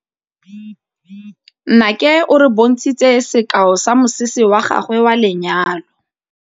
Nnake o re bontshitse sekaô sa mosese wa gagwe wa lenyalo.